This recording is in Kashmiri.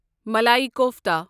مَلَایی کوفتا